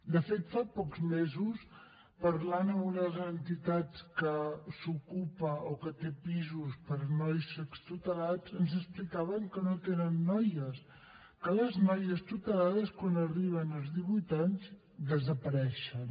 de fet fa pocs mesos parlant amb una de les entitats que s’ocupa o que té pisos per a nois extutelats ens explicaven que no tenen noies que les noies tutelades quan arriben als divuit anys desapareixen